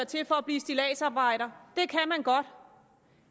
til for at blive stilladsarbejder